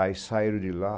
Aí saíram de lá.